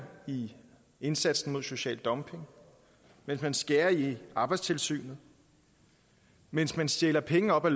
i indsatsen mod social dumping mens man skærer i arbejdstilsynet mens man stjæler penge op af